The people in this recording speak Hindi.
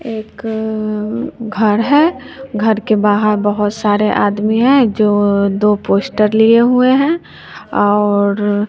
एक घर है घर के बाहर बहोत सारे आदमी है जो दो पोस्ट लिए हुए हैं और--